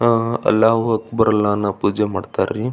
ಅಹ್ ಅಲ್ಲಾ ಓ ಅಕ್ಬರ್ ಅಲ್ಲಾ ಅನ್ನು ಪೂಜೆ ಮಾಡತ್ತರಿ.